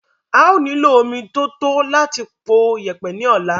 a ó nílò omi tí ó tó láti po yẹ̀pẹ̀ ní ọ̀la.